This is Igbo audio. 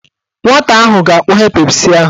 Nwata ahụ ga-akpọghe Pepsi ahụ.